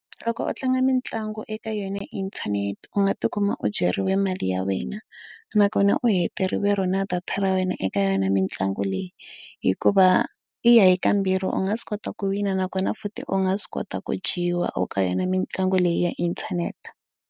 Loko u tlanga mitlangu eka yona inthanete u nga tikuma u dyeriwe mali ya wena nakona u heteriwa ro na data ra wena eka yona mitlangu leyi hikuva i ya hi ka mbirhi u nga swi kota ku wina nakona futhi u nga swi kota ku dyiwa eka yona mitlangu leyi ya inthanete.